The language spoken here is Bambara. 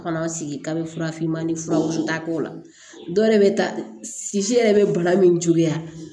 Kɔnɔ sigi k'a bɛ fura finman ni furaw wusu n t'a k'o la dɔw yɛrɛ bɛ taa sisi yɛrɛ bɛ bana min ju la